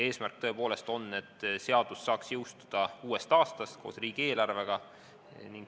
Eesmärk on tõepoolest see, et seadus saaks jõustuda uuest aastast koos riigieelarvega.